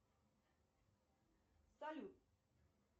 салют